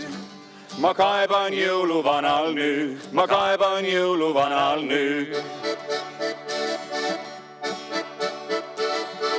Ma kaeban jõuluvanal' nüüd, ma kaeban jõuluvanal' nüüd.